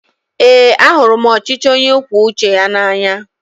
Eé, ahụrụ m ọchịchị onye kwue uche ya n'anya.